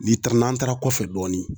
N'i taara n'an taara kɔfɛ dɔɔni